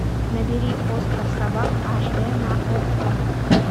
набери остров собак аш дэ на окко